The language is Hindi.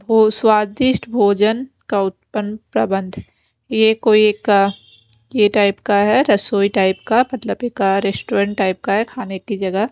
वो स्वादिष्ट भोजन का उत्पन्न प्रबंध यह कोई एक का यह टाइप का है रसोई टाइप का मतलब एक का रेस्टोरेंट टाइप का है खाने की जगह --